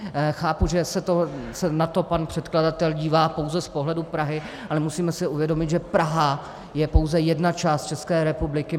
Chápu, že se na to pan předkladatel dívá pouze z pohledu Prahy, ale musíme si uvědomit, že Praha je pouze jedna část České republiky.